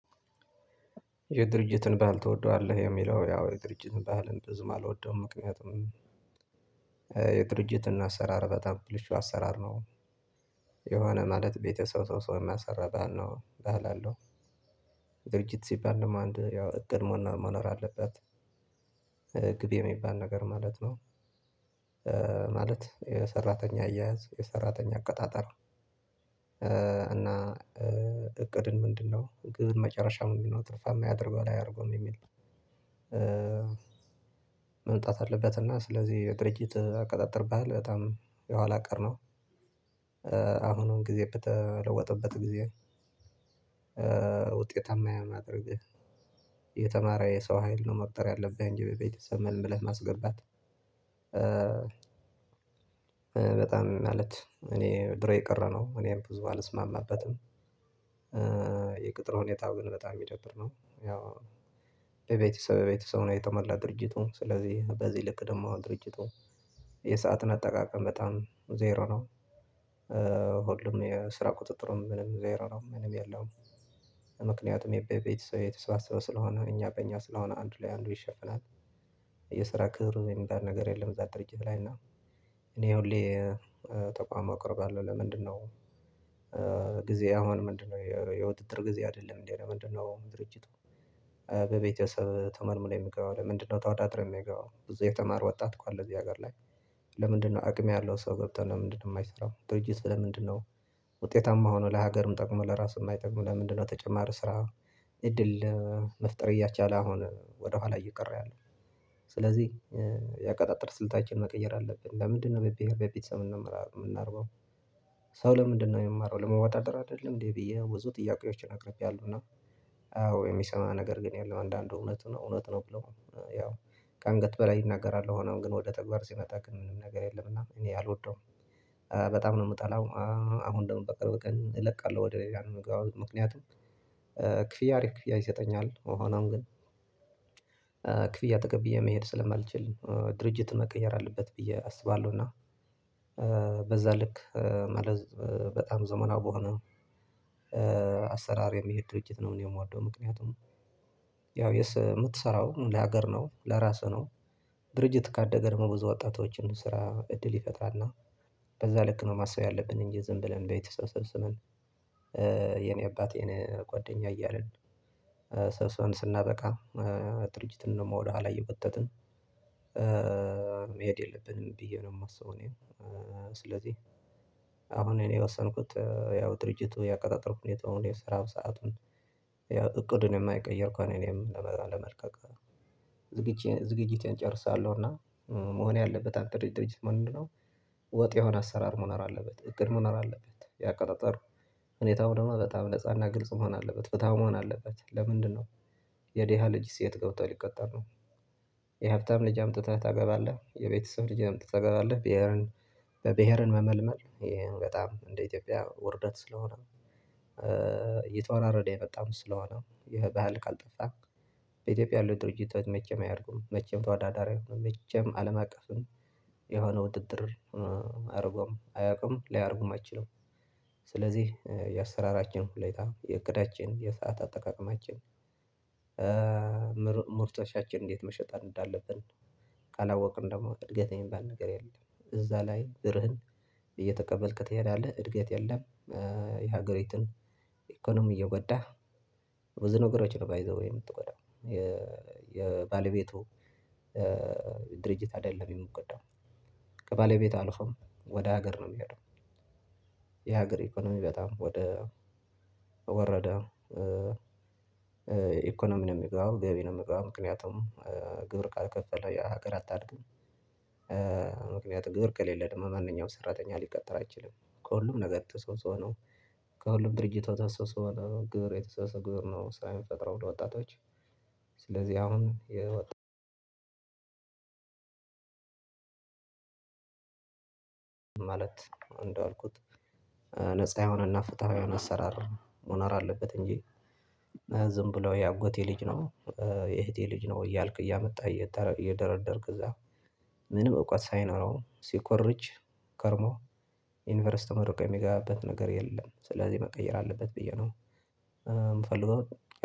የድርጅትን በዓል ትወደዋለህ? የሚለው ያው የድርጅትን ባዓል ብዙም አልወደውም ምክንያቱም የድርጅትና አሰራር በጣም ብልሹ አሰራር ነው። የሆነ ማለት ቤተሰብ ሰው ሰው ሰው የሚያሰራ ባል ነው ባል አለው። ድርጅት ሲባል ደሞ አንድ ያው እቅድ መኖር አለበት። ግብ የሚባል ነገር ማለት ነው። ማለት የሰራተኛ አያያዝ የሰራተኛ አቀጣጠር እና እቅድን ምንድነው እቅድን መጨረሻ ነው ምናየው ትርፋማ ያደርገዋል አያደርገውም የሚል። መምጣት አለበት እና ስለዚህ የድርጅት አቀጣጠር ባህል በጣም የኋላ ቀር ነው። አሁኑን ጊዜ በተለወጠበት ጊዜ ውጤታማ ያማድርግህ። የተማረ የሰው ሀይል ነው መቅጠር ያለብህ እንጂ በቤተሰብ መልምለህ ማስገባት። በጣም ማለት እኔ ድሮ የቀረ ነው እኔም ብዙ አልስማማበትም። የቅጥር ሁኔታው ግን በጣም የሚደብር ነው። ያው በቤተሰብ በቤተሰቡ ነው የተሞላ ድርጅቱ ስለዚህ በዚህ ልክ ደግሞ ድርጅቱ። የሰአትን አጠቃቀም በጣም ዜሮ ነው። ሁሉም የስራ ቁጥጥሩም ምንም ዜሮ ነው ምንም የለውም። ምክንያቱም የቤተሰብ የተሰባሰበ ስለሆነ እኛ በእኛ ስለሆነ አንዱ ላይ አንዱ ይሸፈናል። የስራ ክህልት የሚባል ነገር የለም። እዛ ድርጅት ላይ እና እኔ ሁሌ ተቋም አቀርባለሁ ለምንድነው? ጊዜ አሁን ምንድነው የውድድር ጊዜ አይደለም እንዴ ለምንድነው? ድርጅቱ በቤተሰብ ተመልምሎ የሚገባው ለምንድነው ተወዳድሮ የማይገባው ብዙ የተማረ ወጣት እኮ አለ እዚህ ሀገር ላይ። ለምንድነው አቅም ያለው ሰው ገብተን ለምንድነው የማይሰራው ድርጅት ለምንድነው? ውጤታማ ሆኖ ለሀገርም ጠቅሞ ለራሱም ማይጠቅም ለምንድነው ተጨማሪ ስራ እድል መፍጠር እያቻለ አሁን ወደኋላ እየቀረ ያለው። ስለዚህ የአቀጣጠር ስልታችን መቀየር አለብን ለምንድነው በቤተሰብ የምናረገው? ሰው ለምንድነው የሚማረው ለመወዳደር አይደለም እንዴ ብዬ ብዙ ጥያቄዎችን አቅርቤያለሁና። አዎ የሚሰማ ነገር ግን የለም አንዳንዱእውነት ነው። እውነት ነው ብለው ያው ከአንገት በላይ ይናገራል ሆኖም ግን ወደ ተግባር ሲመጣ ግን ምንም ነገር የለም። እና እኔ አልወደውም በጣም ነው የምጠላው። አሁን ደግሞ በቅርብ ቀን እለቃለሁ ወደ ሌላ ነው ምገባው ምክንያቱም። ክፍያ አሪፍ ክፍያ ይሰጠኛል ሆኖም ግን ክፍያ ተቀብዬ መሄድ ስለማልችል ድርጅቱ መቀየር አለበት ብዬ አስባለሁ። እና በዛ ልክ መለዝ በጣም ዘመናዊ በሆነ። አሰራር የሚሄድ ድርጅት ነው እኔ የምወደው ምክንያቱም። ያው የምትሰራው ለሀገር ነው ለራስህ ነው። ድርጅት ካደገ ደግሞ ብዙ ወጣቶችን ስራ እድል ይፈጥራልና። በዛ ልክ ነው ማሰብ ያለብን እንጂ ዝም ብለን ቤተሰብ ሰብስበን። የኔ አባቴ እኔ ጓደኛ እያልን ሰብስበን ስናበቃ ድርጅትን ደሞ ወደኋላ እየጎተትን። መሄድ የለብንም ብዬ ነው የማስበው። እኔ ስለዚህ አሁን እኔ የወሰንኩት ያው ድርጅቱ ያቀጣጠር ሁኔታውን የስራው ሰአቱን ያው እቅዱን የማይቀይር ከሆነ እኔም ለመልቀቅ ዝግጅቴን ጨርሳለሁ። እና መሆን ያለበት አጠሪ ድርጅት መሆን ምንድን ነው? ወጥ የሆነ አሰራር መኖር አለበት እቅድ መኖር አለበት ያቀጣጠር ሁኔታው ደግሞ በጣም ነፃና ግልጽ መሆን አለበት። ፍትሀዊ መሆን አለበት። ለምንድነው የዴሃ ልጅስ የት ገብቶ ሊቀጠር ነው? የሀብታም ልጅ አምጥተህ ታገባለህ የቤተሰብ ልጅንም አምጥተህ ታገባለህ ብሄርን በብሄርን መመልመል ይሄን በጣም እንደ ኢትዮጵያ ውርደት ስለሆነ። የተወራረደ የመጣም ስለሆነ ይሄ ባህል ካልጠፋ። በኢትዮጵያ ያለው ድርጅቶች መቼም አያድጉም መቼም ተዋዳዳሪ መቼም አለም አቀፍን የሆነ ውድድር አያረጉም አያቁም ሊያረጉም አይችሉም። ስለዚህ የአሰራራችን ሁኔታ የእቅዳችን የሰዓት አጠቃቀማችን ምርቶቻችን እንዴት መሸጥ እንዳለብን ካላወቅን ደግሞ እድገት የሚባል ነገር የለም። እዛ ላይ ብርህን እየተቀበልክ ትሄዳለህ እድገት የለም። የሀገሪቱን ኢኮኖሚ እየጎዳህ ብዙ ነገሮች ነው ባይ ዘ ዌይ የምትጎዳው። የባለቤቱ ድርጅት አይደለም የሚጎዳው። ከባለቤት አልፎም ወደ ሀገር ነው የሚሄደው። የሀገር ኢኮኖሚ በጣም ወደ ወረደ። ኢኮኖሚ ነው የሚገባው ገቢ ነው የሚገባው ምክንያቱም ግብር ካልከፈለ የሀገር አታድግም። ምክንያቱም ግብር ከሌለ ደግሞ ማንኛውም ሰራተኛ ሊቀጠር አይችልም። ከሁሉም ነገር ተሰብስቦ ነው። ከሁሉም ድርጅት ተሰብስቦ ነው ግብር የተሰበሰበ ግብር ነው ስራ ሚፈጥረው ለወጣቶች። ስለዚህ አሁን የወጣ ማለት እንደዋልኩት ነፃ የሆነና ፍትሃዊ የሆነ አሰራር ሞነር አለበት። እንጂ ዝም ብለው የአጎቴ ልጅ ነው። የእህቴ ልጅ ነው እያልክ እያመጣህ እየደረደርክ እዛ። ምንም እውቀት ሳይኖረው ሲኮርጅ ከርሞ ዩኒቨርስቲ ተመርቆ የሚገባበት ነገር የለም። ስለዚህ መቀየር አለበት ብዬ ነው። ምፈልገው።